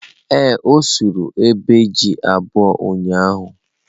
Ee, o surụ ogbe ji abuọ ụyaahụ.